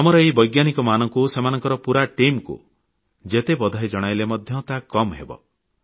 ଆମର ଏହି ବୈଜ୍ଞାନିକମାନଙ୍କୁ ସେମାନଙ୍କ ପୁରା ଟିମକୁ ଯେତେ ସାଧୁବାଦ ଓ ଅଭିନନ୍ଦନ ଜଣାଇଲେ ମଧ୍ୟ ତାହା କମ୍ ହେବ